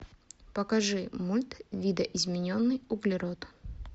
покажи мульт видоизмененный углерод